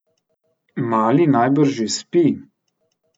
Mali najbrž še spi.